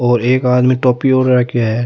और एक आदमी टोपी ओड रखो है।